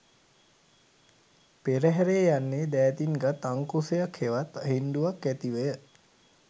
පෙරහැරේ යන්නේ දෑතින් ගත් අංකුසයක් හෙවත් හෙණ්ඩුවක් ඇතිවය.